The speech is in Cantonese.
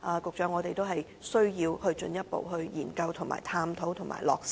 局長，我們需要進一步研究、探討和落實。